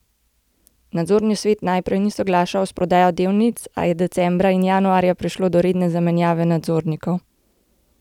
Nadzorni svet najprej ni soglašal s prodajo delnic, a je decembra in januarja prišlo do redne zamenjave nadzornikov.